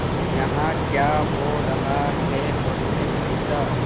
यहाँ क्या हो रहा है उसने पूछा